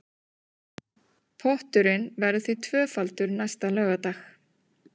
Potturinn verður því tvöfaldur næsta laugardag